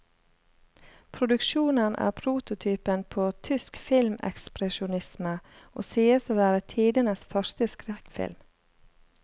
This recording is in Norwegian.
Produksjonen er prototypen på tysk filmekspresjonisme, og sies å være tidenes første skrekkfilm.